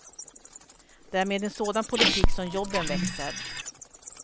Det är med en sådan politik som jobben växer.